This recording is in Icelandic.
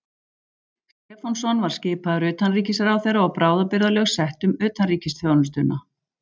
Stefánsson var skipaður utanríkisráðherra og bráðabirgðalög sett um utanríkisþjónustuna.